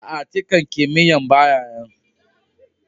Aa, tican kimiyya'n baya nan.